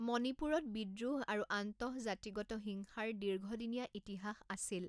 মণিপুৰত বিদ্ৰোহ আৰু আন্তঃজাতিগত হিংসাৰ দীৰ্ঘদিনীয়া ইতিহাস আছিল।